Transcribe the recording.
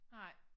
Nej